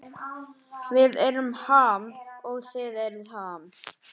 Við erum Ham og þið eruð Ham